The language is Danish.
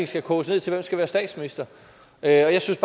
skal koges ned til hvem skal være statsminister jeg synes